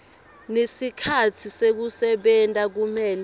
nesikhatsi sekusebenta kumele